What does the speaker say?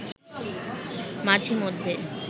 মাঝে মধ্যে